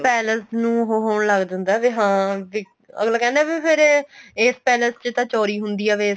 palace ਨੂੰ ਹੋਣ ਲੱਗ ਜਾਂਦਾ ਏ ਵੀ ਹਾਂ ਵੀ ਅੱਗਲਾ ਕਹਿੰਦਾ ਵੀ ਫ਼ੇਰ ਇਸ ਪੈਲਸ ਚ ਤਾਂ ਚੋਰੀ ਹੁੰਦੀ ਆ